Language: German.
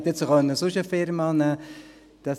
Ich hätte jetzt auch sonst eine Firma nehmen können.